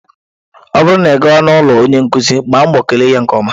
Ọ bụrụ na ị gaa n'ụlọ ọrụ onye nkuzi, gbaa mbọ kele ya nke ọma.